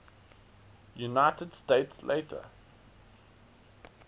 united states later